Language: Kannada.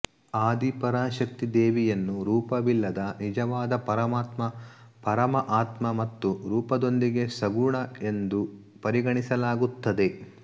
ಆದಿ ಪರಶಕ್ತಿ ದೇವಿಯನ್ನು ರೂಪವಿಲ್ಲದ ನಿಜವಾದ ಪರಮಾತ್ಮ ಪರಮ ಆತ್ಮ ಮತ್ತು ರೂಪದೊಂದಿಗೆ ಸಗುಣ ಎಂದು ಪರಿಗಣಿಸಲಾಗುತ್ತದೆ